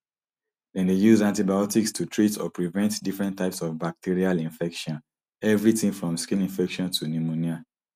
dem dey use antibiotics to treat or prevent different types of bacterial infections evritin from skin infections to pneumonia